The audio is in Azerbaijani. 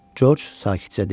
Coç sakitcə dedi.